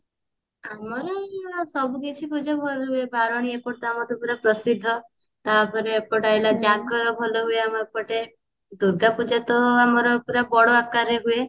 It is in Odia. ଆମର ସବୁ କିଛି ପୂଜା ଭଲ ହୁଏ ବାରେଣୀ ତ ଆମର ଏପଟେ ପୁରା ପ୍ରସିଦ୍ଧ ତାପରେ ଏପଟେ ଆଇଲା ଜାଗର ଭଲ ହୁଏ ଆମ ଏପଟେ ଦୂର୍ଗା ପୂଜା ତ ଆମର ପୁରା ବଡ ଆକାରରେ ହୁଏ